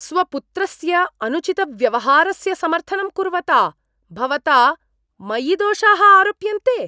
स्वपुत्रस्य अनुचितव्यवहारस्य समर्थनं कुर्वता भवता मयि दोषाः आरोप्यन्ते।